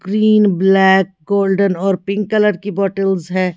Green black golden और pink colour की bottles है।